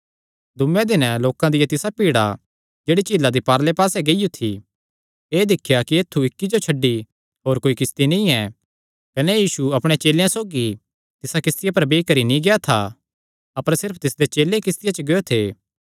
दूँये दिने लोकां दिया तिसा भीड़ा जेह्ड़ी झीला दी पारले पास्से रेई गियो थी एह़ दिख्या कि ऐत्थु इक्की जो छड्डी होर कोई किस्ती नीं ऐ कने यीशु अपणे चेलेयां सौगी तिसा किस्तिया पर बेई करी नीं गेआ था अपर सिर्फ तिसदे चेले किस्तिया च गियो थे